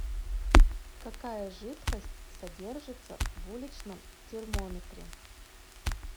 какая жидкость содержится в уличном термометре